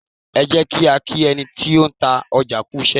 Ẹ jẹ́ kí á kí ẹni tí ó ń ta ọjà kú iṣẹ́.